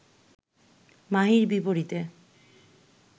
মাহীর বিপরীতে